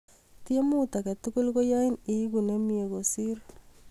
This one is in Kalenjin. Tiemut age tugul ko yain iegu nemie kosir